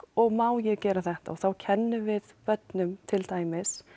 og má ég gera þetta og þá kennum við börnum til dæmis